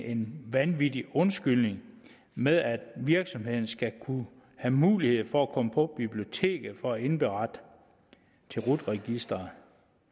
en vanvittig undskyldning med at virksomheden skal kunne have mulighed for at komme på biblioteket for at indberette til rut registeret